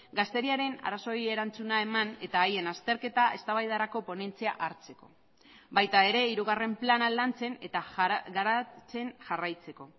gazteriaren arazoei erantzuna eman eta haien azterketa eztabaidarako ponentzia hartzeko baita ere hirugarren plana lantzen eta garatzen jarraitzeko